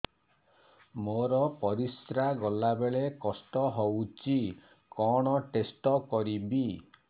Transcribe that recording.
ମୋର ପରିସ୍ରା ଗଲାବେଳେ କଷ୍ଟ ହଉଚି କଣ ଟେଷ୍ଟ କରିବି